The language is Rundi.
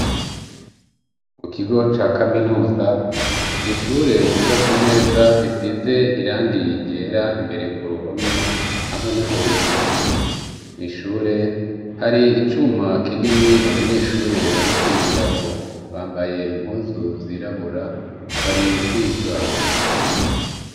Mu kigo ca kaminuza, n’ishure ryubatse neza risize irangi ryera imbere ku ruhome hamwe no hejuru nishure hari icuma kinini abanyeshure bari kwigirako bambaye impuzu zirabura, bari kwiga.